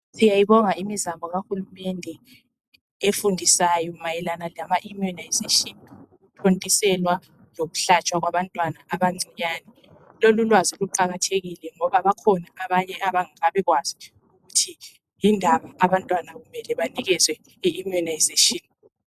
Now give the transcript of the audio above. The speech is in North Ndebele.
Siyayibonga imizamk kaHulumende efundisayo mayelana lamaimmunisation, ukuthontiselwa lokuhlatshwa kwabantwana abancinyane. Lolulwazi luqakathekile ngoba bakhona abanye abangakabikwazi ukuthi yindaba abantwana kumele banikezwe iimmunisation.